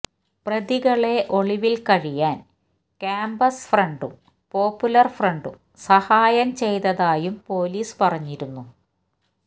പ്രതികളെ ഒളിവില് കഴിയാന് കാമ്പസ് ഫ്രണ്ടും പോപ്പുലര് ഫ്രണ്ടും സഹായം ചെയ്തതായും പൊലീസ് പറഞ്ഞിരുന്നു